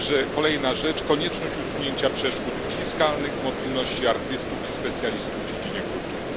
Kolejna rzecz konieczność usunięcia przeszkód fiskalnych w mobilności artystów i specjalistów w dziedzinie kultury.